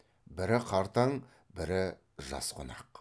бірі қартаң бірі жас қонақ